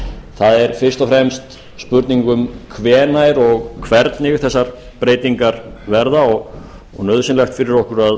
það er fyrst og fremst spurning um hvenær og hvernig þessar breytingar verða og nauðsynlegt fyrir okkur